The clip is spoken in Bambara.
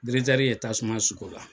Diretɛri ye tasuma suk'o la.